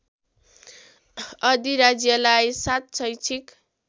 अधिराज्यलाई ७ शैक्षिक